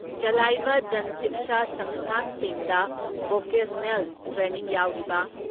ꯆꯂꯥꯏꯕ ꯖꯟ ꯁꯤꯛꯁꯟ ꯁꯪꯁꯊꯥꯟꯁꯤꯡꯗ vocational training ꯌꯥꯎꯔꯤꯕ